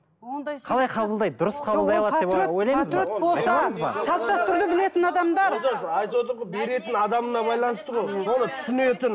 айтып отырмын ғой беретін адамына байланысты ғой соны түсінетін